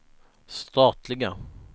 statliga